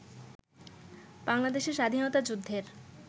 বাংলাদেশের স্বাধীনতা যুদ্ধের